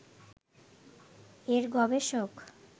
এর গবেষক